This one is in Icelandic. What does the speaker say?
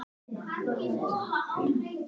hvíslar hann á móti.